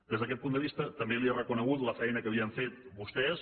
des d’aquest punt de vista també li he reconegut la feina que havien fet vostès